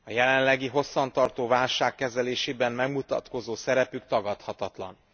A jelenlegi hosszantartó válság kezelésében megmutatkozó szerepük tagadhatatlan.